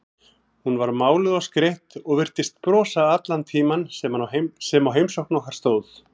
Hún var máluð og skreytt og virtist brosa allan tímann sem á heimsókn okkar stóð.